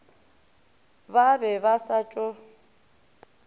ba be ba sa tšo